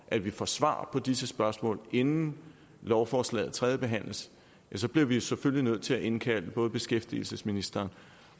at vi får svar på disse spørgsmål inden lovforslaget tredjebehandles så bliver vi selvfølgelig omgående nødt til at indkalde både beskæftigelsesministeren